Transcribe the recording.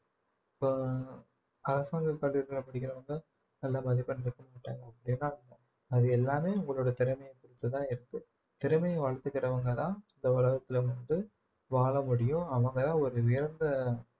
இப்ப அரசாங்க பள்ளிக்கூடத்தில படிக்கிறவங்க நல்ல மதிப்பெண்கள் எடுக்க மாட்டாங்க அது எல்லாமே உங்களோட திறமைய பொறுத்துதான் இருக்கு திறமைய வளர்த்திக்கிறவங்கதான் இந்த உலகத்துல வந்து வாழ முடியும் அவங்க ஒரு உயர்ந்த